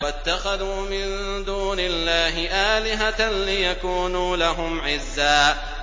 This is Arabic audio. وَاتَّخَذُوا مِن دُونِ اللَّهِ آلِهَةً لِّيَكُونُوا لَهُمْ عِزًّا